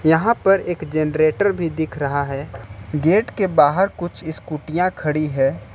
यहां पर एक जनरेटर भी दिख रहा है गेट के बाहर कुछ स्कूटीयां खड़ी है।